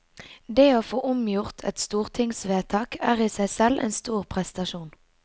Det å få omgjort et stortingsvedtak er i seg selv en stor prestasjon.